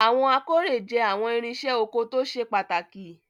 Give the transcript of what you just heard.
Awọn akore jẹ awọn irinse oko to sepataki